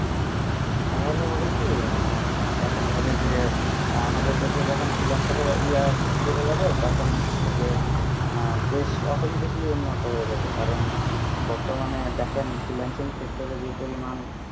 তাহলে হবে কি আহ দেখা যাবে যে আমাদের দেশে যখন freelancer এর ইয়ে বেড়ে যাবে তখন হচ্ছে যে আহ দেশ automatically উন্নত হয়ে যাবে কারণ বর্তমানে দেখেন freelancing sector এ যে পরিমাণ